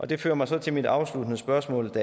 det fører mig så til mit afsluttende spørgsmål